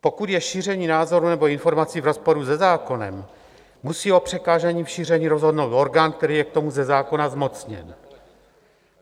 Pokud je šíření názorů nebo informací v rozporu se zákonem, musí o přikázání v šíření rozhodnout orgán, který je k tomu ze zákona zmocněn.